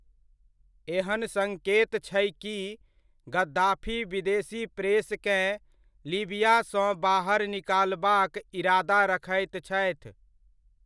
एहन सङ्केत छै कि गद्दाफी विदेशी प्रेसकेँ लीबियासँ बाहर निकालबाक इरादा रखैत छथि।